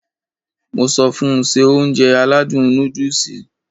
Mo sọ fun Se Ounjẹ aládùn nóódùsì